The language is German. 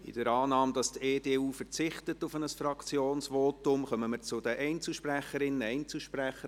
In der Annahme, dass die EDU auf ein Fraktionsvotum verzichtet, kommen wir zu den Einzelsprecherinnen und Einzelsprechern.